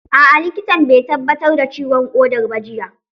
A'a likitan bai tabbatar da ciwon ƙodar ba jiya